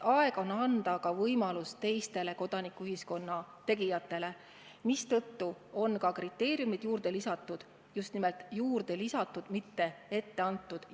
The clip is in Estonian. Aeg on anda võimalus ka teistele kodanikuühiskonna tegijatele, mistõttu on ka kriteeriumid juurde lisatud – just nimelt juurde lisatud, mitte ette antud.